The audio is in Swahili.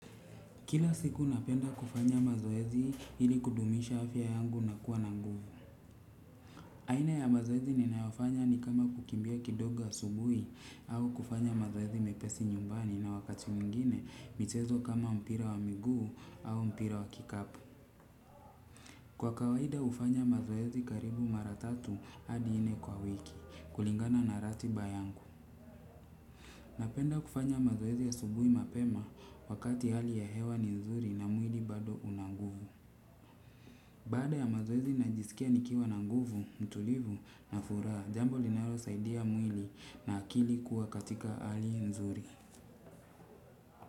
Kila siku napenda kufanya mazoezi ili kudumisha afya yangu na kuwa nanguvu. Aina ya mazoezi ninayofanya ni kama kukimbia kidogo asubuhi au kufanya mazoezi mepesi nyumbani na wakati mwingine michezo kama mpira wa miguu au mpira wa kikapu. Kwa kawaida hufanya mazoezi karibu mara tatu hadi nne kwa wiki kulingana na ratiba yangu. Napenda kufanya mazoezi asubuhi mapema wakati hali ya hewa ni nzuri na mwili bado una nguvu. Baada ya mazoezi najisikia nikiwa na nguvu, mtulivu na furaha, jambo linalo saidia mwili na akili kuwa katika hali nzuri.